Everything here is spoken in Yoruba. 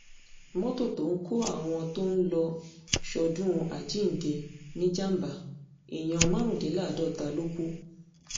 mọ́tò tó ń kọ́ àwọn tó ń lọ́ọ́ sọ́dún àjíǹde níjàmbá èèyàn márùndínláàádọ́ta ló kù